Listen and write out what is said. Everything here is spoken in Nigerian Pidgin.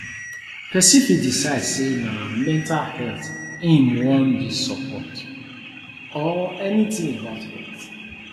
persin fit decide say na mental health im won de support or any thing about health